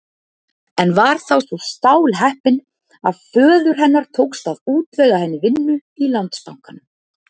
En var þá svo stálheppin að föður hennar tókst að útvega henni vinnu í Landsbankanum.